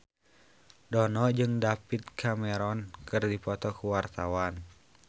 Dono jeung David Cameron keur dipoto ku wartawan